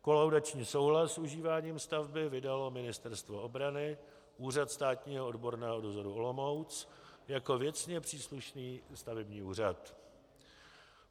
Kolaudační souhlas s užíváním stavby vydalo Ministerstvo obrany, Úřad státního odborného dozoru Olomouc, jako věcně příslušný stavební úřad.